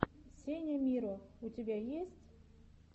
сеня миро у тебя есть